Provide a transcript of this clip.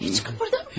İncitməyin!